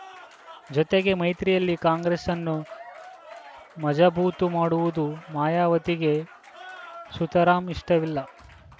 ಜೊತೆಗೆ ಮೈತ್ರಿಯಲ್ಲಿ ಕಾಂಗ್ರೆಸ್ಸನ್ನು ಮಜಾ ಬೂತು ಮಾಡುವುದು ಮಾಯಾವತಿಗೆ ಸುತರಾಂ ಇಷ್ಟವಿಲ್ಲ